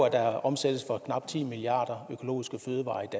at der omsættes for knap ti milliard